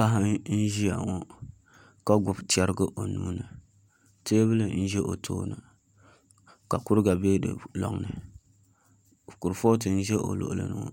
Paɣa n ʒiya ŋo ka gbubi chɛrigi o nuuni teebuli n ʒɛya ŋo ka kuriga bɛ di loŋni kurifooti n ʒɛ o luɣuli ni ŋo